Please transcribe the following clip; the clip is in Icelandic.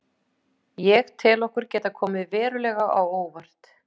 Ég tel okkur geta komið verulega á óvart.